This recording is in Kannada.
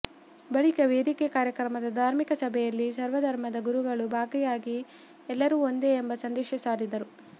ಬಳಿಕ ವೇದಿಕೆ ಕಾರ್ಯಕ್ರಮದ ಧಾರ್ಮಿಕ ಸಭೆಯಲ್ಲಿ ಸರ್ವ ಧರ್ಮದ ಗುರುಗಳು ಭಾಗಿಯಾಗಿ ಎಲ್ಲರು ಒಂದೇ ಎಂಬ ಸಂದೇಶ ಸಾರಿದರು